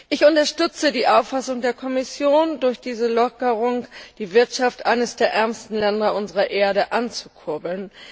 Ich unterstütze die Auffassung der Kommission, durch diese Lockerung die Wirtschaft eines der ärmsten Länder unserer Erde anzukurbeln.